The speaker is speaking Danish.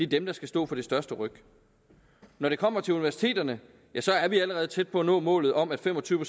dem der skal stå for det største ryk når vi kommer til universiteterne er vi allerede tæt på at nå målet om at fem og tyve